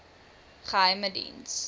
geheimediens